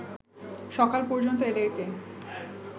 সকাল পর্যন্ত এদেরকে